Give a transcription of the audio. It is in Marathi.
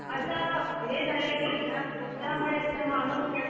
असं हे झालंय की यात ना ज्यामुळे येत ना माणूस ना